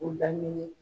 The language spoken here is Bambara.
U laminɛ